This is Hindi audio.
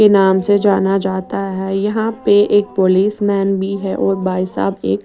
के नाम से जाना जाता है यहाँ पे एक पुलिस मैन भी है और भाई साहब एक --